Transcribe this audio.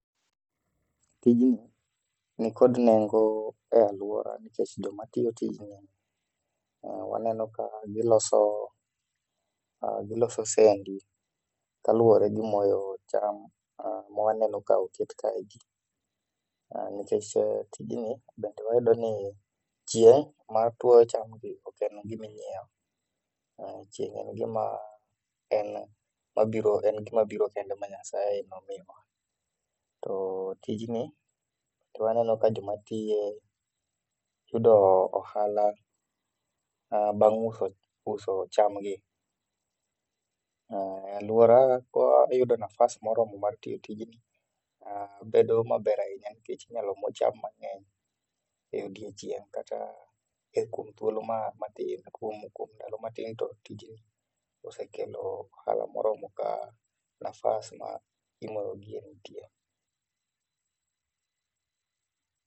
Tijni nikod nengo e aluora nikech joma tiyo tijni waneno ka giloso sendi kaluore gi moyo cham ma waneno ka oket kae gi. Nikech tijni bende wayudo ni chieng matuoyo cham gi oken gim ainyiew, chieng en gima, mabiro kende ma Nyasaye nomiywa to tijni aneno ka joma tiye yudo ohala bang uso cham gi. Aluora ka iyudo nafas moromo mar timo tijni bedo maber ahinya nikech inyalo moo cham mangeny e odiochieng' kata e kuom thuolo matin, kuom ndalo matin to tijni osekelo ohala moromo ka nafas mar dhi moyogi nitie.